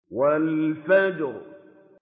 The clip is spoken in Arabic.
وَالْفَجْرِ